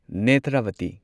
Netravathi